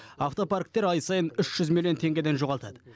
автопарктер ай сайын үш жүз миллион теңгеден жоғалтады